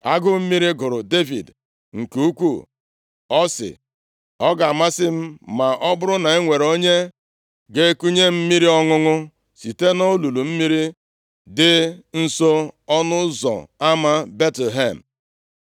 Agụụ mmiri gụrụ Devid nke ukwuu, ọ sị, “Ọ ga-amasị m ma ọ bụrụ na o nwere onye ga-ekunye m mmiri ọṅụṅụ site nʼolulu mmiri dị nso nʼọnụ ụzọ ama Betlehem!”